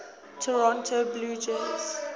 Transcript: toronto blue jays